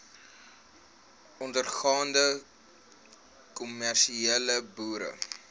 ondergaande kommersiële boere